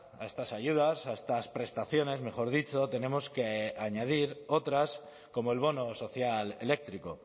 a estas ayudas a estas prestaciones mejor dicho tenemos que añadir otras como el bono social eléctrico